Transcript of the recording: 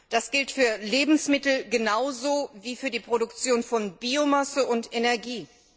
Das gilt für Lebensmittel genauso wie für die Produktion von Biomasse und Energie.